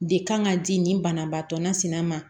De kan ka di nin banabaatɔ nasina ma